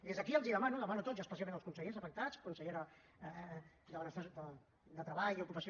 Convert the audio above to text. des d’aquí els demano els demano a tots i especialment als consellers afectats consellera de treball i ocupació